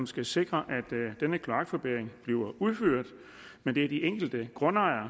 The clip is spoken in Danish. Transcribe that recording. skal sikre at denne kloakforbedring bliver udført men det er de enkelte grundejere